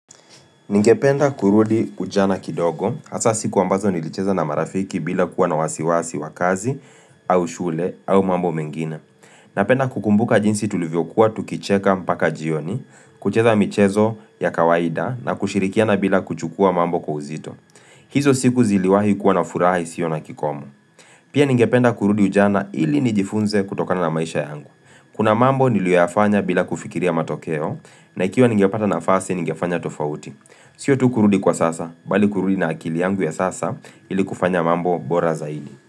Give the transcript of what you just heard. Ningependa kurudi ujana kidogo, hasa siku ambazo nilicheza na marafiki bila kuwa na wasiwasi wa kazi, au shule, au mambo mengine. Napenda kukumbuka jinsi tulivyokuwa tukicheka mpaka jioni, kucheza michezo ya kawaida na kushirikiana bila kuchukua mambo kwa uzito. Hizo siku ziliwahi kuwa na furaha isiyo na kikomo. Pia ningependa kurudi ujana ili nijifunze kutokana na maisha yangu. Kuna mambo niliyoafanya bila kufikiria matokeo na ikiwa ningepata nafasi ningefanya tofauti. Sio tu kurudi kwa sasa, bali kurudi na akili yangu ya sasa ili kufanya mambo bora zaidi.